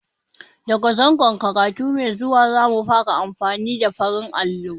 Da ga zangon karatu mai zuwa, za mu fara amfani da farin allo.